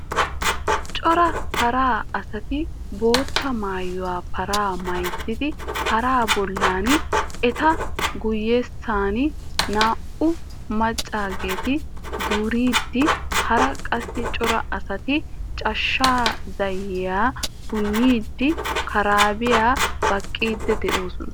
Cora paraa asati bootta maayuwaa paraa mayzzidi paraa bollan, eta guyesana naa"u maccageeti duriidi, hara qassi cora asati cachcha zayyiyaa punniidine karabiyaa baqqiidi de'oosona.